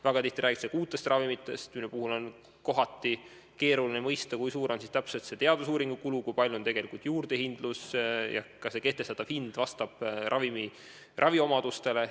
Väga tihti räägitakse uutest ravimitest, mille puhul on kohati keeruline mõista, kui suur täpselt on nendega seotud teadusuuringute kulu ja kui suur on tegelikult juurdehindlus ja kas kehtestatav hind vastab ravimi raviomadustele.